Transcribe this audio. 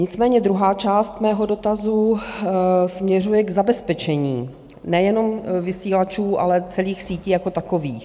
Nicméně druhá část mého dotazu směřuje k zabezpečení nejenom vysílačů, ale celých sítí jako takových.